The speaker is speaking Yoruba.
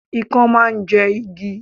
Ikán máà ń jẹ igi